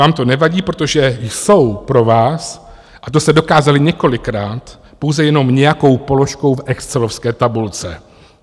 Vám to nevadí, protože jsou pro vás, a to jste dokázali několikrát, pouze jenom nějakou položkou v excelovské tabulce.